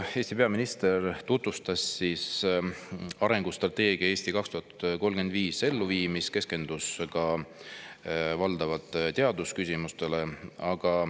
Eesti peaminister tutvustas täna oma ettekandes arengustrateegia "Eesti 2035" elluviimist ja keskendus valdavalt teadusküsimustele.